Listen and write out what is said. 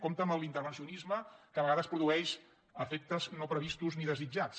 compte amb l’intervencionisme que a vegades produeix efectes no previstos ni desitjats